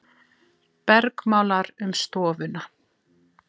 Bergmálar um stofuna.